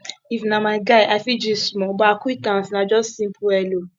if na my guy i fit gist small but acquaintance na just simple hello